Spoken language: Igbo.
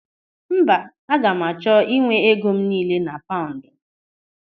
Mba, aga m achọ ịnwe ego m niile na paụndụ.